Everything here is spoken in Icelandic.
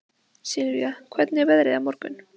Sylvía, hvernig er veðrið á morgun?